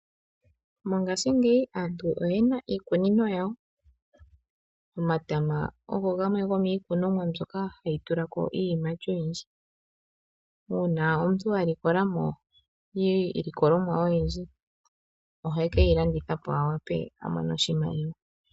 Mongaashingeyi aantu oyena iikunino yawo, omatama ogo gamwe gomiikunomwa mbyoka hayi tulako iiyimati oyindji. Uuna omuntu a likola mo iilikolomwa oyindji ohe keyi landitha po a wape a mone mo oshimaliwa.